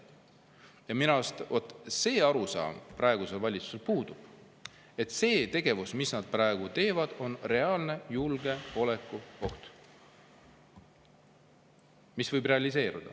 Ja minu arust see arusaam praegusel valitsusel puudub, et kõik see, mida nad praegu teevad, on reaalne julgeolekuoht, mis võib realiseeruda.